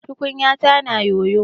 Tukunyata na yoyo.